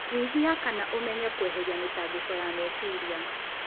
Nyihia kana ũmenye kweheria mĩtangĩko ya meciria